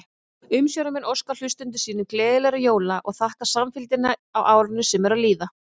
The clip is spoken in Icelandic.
Umsjónarmenn óska hlustendum sínum gleðilegra jóla og þakka samfylgdina á árinu sem er að líða!